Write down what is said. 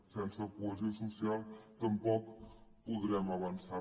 sense cohesió social tampoc podrem avançar